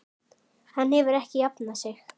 Hann hefur ekki jafnað sig.